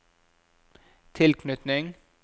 tilknytning